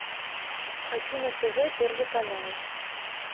хочу на тв первый канал